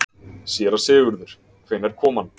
SÉRA SIGURÐUR: Hvenær kom hann?